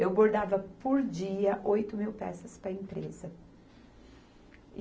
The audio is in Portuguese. Eu bordava, por dia, oito mil peças para empresa.